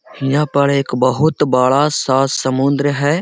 हीया पर एक बहुत बड़ा-सा समुन्द्र है।